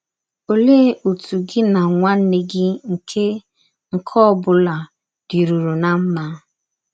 Ọlee ọtụ gị na nwanne gị nke nke ọ bụla dịrụrụ ná mma?